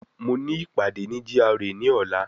Mo ní ìpàdé ní GRA ní ọ̀la